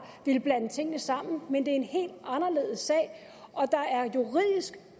villet blande tingene sammen men det er en helt anderledes sag og der er